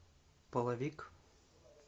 половик